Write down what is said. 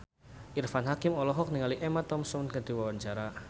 Irfan Hakim olohok ningali Emma Thompson keur diwawancara